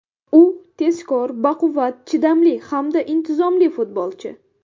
U tezkor, baquvvat, chidamli hamda intizomli futbolchi.